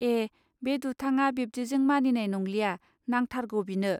ए बे दुथाङा बिब्दिजों मानिनाय नंलिया नांथारगौ बिनो